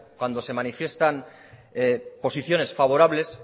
cuando se manifiestan posiciones favorables